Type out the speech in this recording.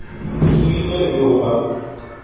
silika e be ho ba